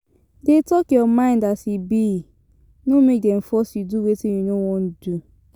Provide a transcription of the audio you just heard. Dey talk your mind as e be no make dem force you do wetin you no won do